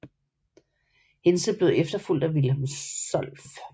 Hintze blev efterfulgt af Wilhelm Solf